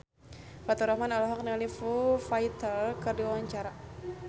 Faturrahman olohok ningali Foo Fighter keur diwawancara